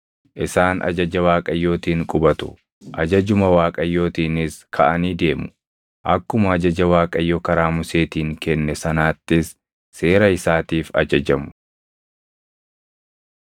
Isaan ajaja Waaqayyootiin qubatu; ajajuma Waaqayyootiinis kaʼanii deemu. Akkuma ajaja Waaqayyo karaa Museetiin kenne sanaattis seera isaatiif ajajamu.